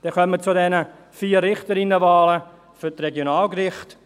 Damit kommen wir zu den 4 Richterinnenwahlen für die Regionalgerichte.